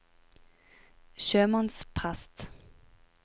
sjømannsprest